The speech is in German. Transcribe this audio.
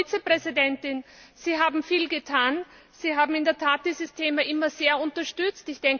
Frau Vizepräsidentin, Sie haben viel getan, Sie haben in der Tat dieses Thema immer sehr unterstützt.